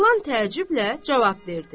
Oğlan təəccüblə cavab verdi.